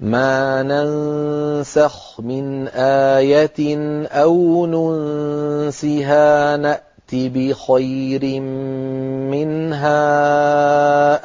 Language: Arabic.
۞ مَا نَنسَخْ مِنْ آيَةٍ أَوْ نُنسِهَا نَأْتِ بِخَيْرٍ مِّنْهَا